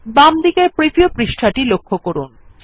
বামদিকের প্রিভিউ পৃষ্ঠাটি লক্ষ্য করুন